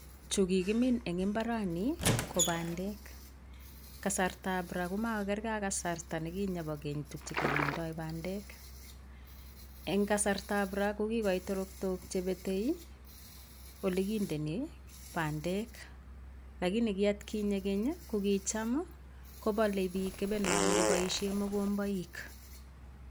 Chu kikimin eng imbarani ko pandek. kasartap ra komakokerge ak kasarta nekinye bo keny tukche kemindoi pandek. eng kasartab ra kokikoit teraktok chepetei ole kindeni pandek, lakini ki atkinye keny, kicham kopalei bik kepenonik, koboishe mogomboik.